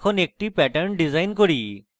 এখন একটি pattern design করি